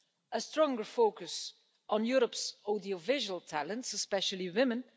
a stronger focus on Europe's audiovisual talents, especially women